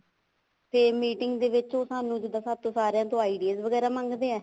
ਫ਼ੇਰ meeting ਦੇ ਵਿੱਚ ਸਾਨੂੰ ਤੇ ਜਿੱਦਾਂ ਸਾਥੋਂ ਸਾਰਿਆਂ ਤੋਂ ideas ਵਗੈਰਾ ਮੰਗਦੇ ਆ